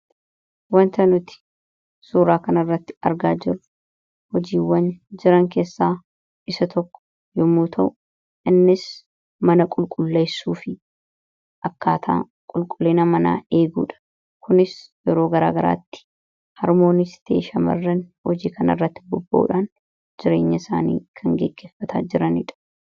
Waanta nuti suuraa kan irratti argaa jiru, hojiiwwan jiran keessaa isa tokko yomuu ta'u. Innis mana qulqulleessuu fi akkaataa qulqullina manaa eegudha. Kunis yeroo garagaraatti harmoonnisi ta'e shamarran hojii kana irratti bobbahuudhaan jireenya isaanii kan gaggeefata jiranidha.